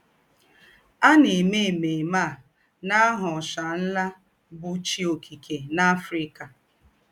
À na - èmè èmèmè à n’áhà Òòshà Ńlá, bụ́ chī ọ́kìké n’Africa.